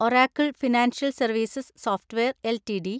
Oracle Financial Services Software LTD